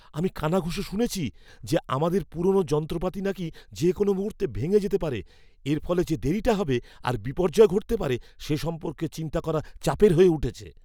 আমি কানাঘুষো শুনেছি যে আমাদের পুরনো যন্ত্রপাতি নাকি যে কোনও মুহূর্তে ভেঙে যেতে পারে। এর ফলে যে দেরিটা হবে আর বিপর্যয় ঘটতে পারে সে সম্পর্কে চিন্তা করা চাপের হয়ে উঠছে।